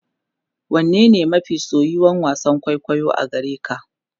wane ne mafi soyuwan wasan kwaikwayo a gareka?